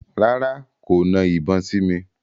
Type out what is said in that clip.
Rárá, kò na ìbọn sí mi.